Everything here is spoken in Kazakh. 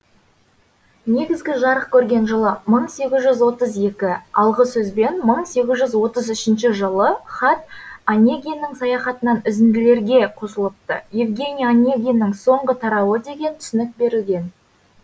негізгі жарық көрген жылы мың сегіз жүз отыз екі алғы сөзбен мың сегіз жүз отыз үшінші жылы хат онегиннің саяхатынан үзінділерге қосылыпты евгений онегиннің соңғы тарауы деген түсінік берілген